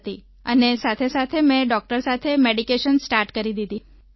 અને તેની સાથેસાથે મેં ડોક્ટર સાથે મેડિકેશન સ્ટાર્ટ કરી દીધી